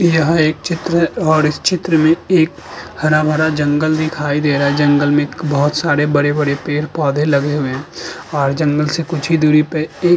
यह एक चित्र है और इस चित्र में एक हरा भरा जंगल दिखाई दे रहा है। जंगल में बोहोत सारे बड़े-बड़े पेड़ पौधे लगे हुए हैं और जंगल से कुछ ही दूरी पे एक --